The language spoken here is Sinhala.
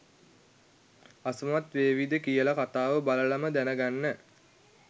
අසමත් වේවිද කියලා කතාව බලලම දැනගන්න.